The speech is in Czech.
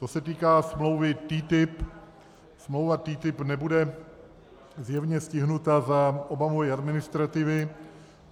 Co se týká smlouvy TTIP, smlouva TTIP nebude zjevně stižena za Obamovy administrativy.